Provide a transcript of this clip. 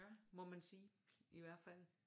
Må man sige i hvert fald